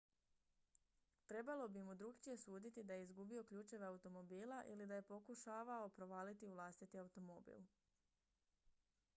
trebalo bi mu drukčije suditi da je izgubio ključeve automobila ili da je pokušavao provaliti u vlastiti automobil